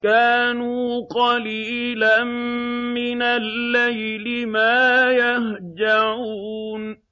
كَانُوا قَلِيلًا مِّنَ اللَّيْلِ مَا يَهْجَعُونَ